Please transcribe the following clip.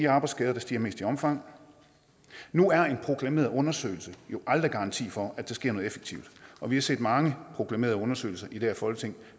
arbejdsskaderne stiger mest i omfang nu er en proklameret undersøgelse jo aldrig en garanti for at der sker noget effektivt og vi har set mange proklamerede undersøgelser i det her folketing